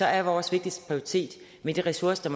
er vores vigtigste prioritet med de ressourcer